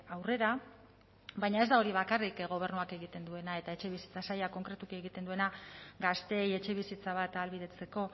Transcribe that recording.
aurrera baina ez da hori bakarrik gobernuak egiten duena eta etxebizitza sailak konkretuki egiten duena gazteei etxebizitza bat ahalbidetzeko